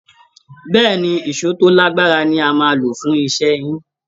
Bẹ́ẹ̀́ẹ̀ ni, èṣó tó lágbára ni a máa lò fún iṣẹ́ yín